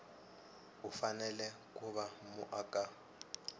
u fanele ku va muaka